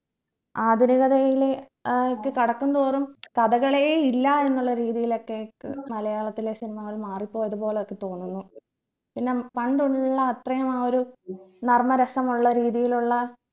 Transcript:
ആധുനികതയിലെ ഏർ ക്ക് കടക്കും തോറും കടകളെ ഇല്ല എന്ന രീതിയിലൊക്കെ ക്ക് മലയാളത്തിലെ cinema കൾ മാറിപ്പോയത് പോലെയൊക്കെ തോന്നുന്നു പിന്നെ പണ്ടുള്ള അത്രയും ആ ഒരു നർമ്മരസമുള്ള രീതിയിലുള്ള